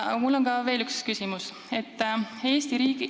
Aga mul on veel üks küsimus ka.